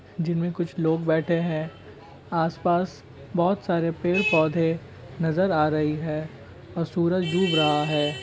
जिनमें कुछ लोग बैठे हैं आस-पास बहोत सारे पेड़-पौधे नजर आ रही है और सूरज डूब रहा है।